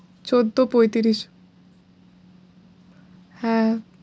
চোদ্দো পঁয়ত্রিশ হ্যাঁ